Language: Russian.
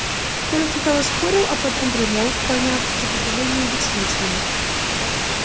коля сначала спорил а потом примолк поняв что сопротивление бессмысленно